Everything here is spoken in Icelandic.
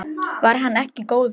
Var hann ekki góður?